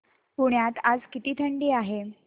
पुण्यात आज किती थंडी आहे